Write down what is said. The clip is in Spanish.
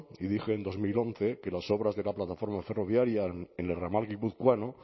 y dije en dos mil once que las obras de la plataforma ferroviaria en el ramal guipuzcoano